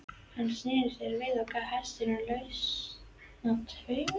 Hann sneri sér við og gaf hestinum lausan tauminn.